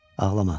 Ağlama.